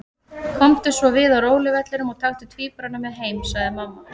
Komdu svo við á róluvellinum og taktu tvíburana með heim, sagði mamma.